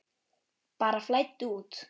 Bara flæddu út.